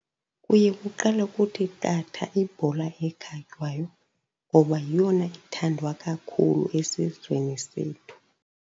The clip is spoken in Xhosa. Kuye kuqale kuthi qatha ibhola ekhatywayo ngoba yeyona ithandwa kakhulu esizweni sethu.